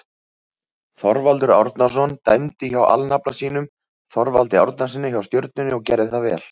Þorvaldur Árnason dæmdi hjá alnafna sínum Þorvaldi Árnasyni hjá Stjörnunni og gerði það vel.